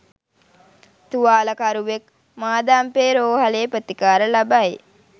තුවාලකරුවෙක් මාදම්පේ රෝහලේ ප්‍රතිකාර ලබයි.